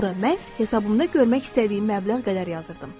Ora məhz hesabımda görmək istədiyim məbləğ qədər yazırdım.